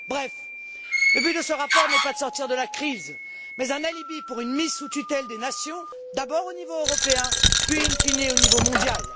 Bref, le but de ce rapport n'est pas de nous sortir de la crise c'est un alibi pour une mise sous tutelle des nations, d'abord au niveau européen, puis, in fine au niveau mondial.